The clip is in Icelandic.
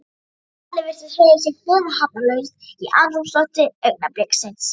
Allir virtust hreyfa sig fyrirhafnarlaust í andrúmslofti augnabliksins.